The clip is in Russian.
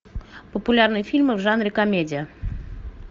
популярные фильмы в жанре комедия